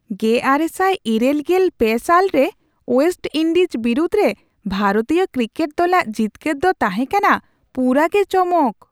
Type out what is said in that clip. ᱑᱙᱘᱓ ᱥᱟᱞ ᱨᱮ ᱳᱭᱮᱥᱴᱼᱤᱱᱰᱤᱡᱽ ᱵᱤᱨᱩᱫᱷ ᱨᱮ ᱵᱷᱟᱨᱚᱛᱤᱭᱚ ᱠᱨᱤᱠᱮᱴ ᱫᱚᱞᱟᱜ ᱡᱤᱛᱠᱟᱹᱨ ᱫᱚ ᱛᱟᱦᱮᱸ ᱠᱟᱱᱟ ᱯᱩᱨᱟᱹᱜᱮ ᱪᱚᱢᱚᱠ ᱾